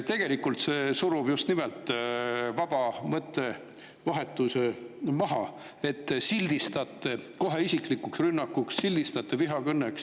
Tegelikult see surub just nimelt vaba mõttevahetuse maha, et te sildistate kohe isiklikuks rünnakuks, sildistate vihakõneks.